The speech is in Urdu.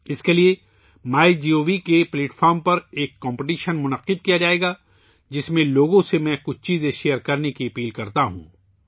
اس کے لئے مئی گوو پلیٹ فارم پر ایک مقابلہ منعقد کیا جائے گا، جس میں ، میں لوگوں سے کچھ چیزیں شیئر کرنے کی درخواست کرتا ہوں